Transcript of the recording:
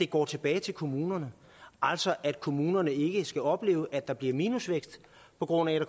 går tilbage til kommunerne altså at kommunerne ikke skal opleve at der bliver minusvækst på grund af at